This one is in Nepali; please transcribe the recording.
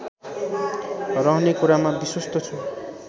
रहने कुरामा विश्वस्त छु